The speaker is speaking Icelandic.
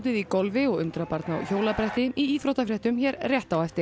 í golfi og undrabarn á hjólabretti í íþróttafréttum hér rétt á eftir